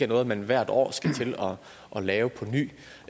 noget man hvert år skal til at lave på ny